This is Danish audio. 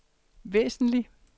væsentlig